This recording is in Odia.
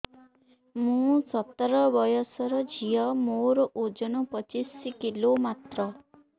ମୁଁ ସତର ବୟସର ଝିଅ ମୋର ଓଜନ ପଚିଶି କିଲୋ ମାତ୍ର